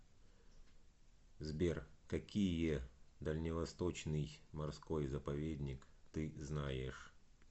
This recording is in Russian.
сбер какие дальневосточный морской заповедник ты знаешь